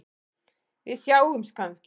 Við sjáumst kannski?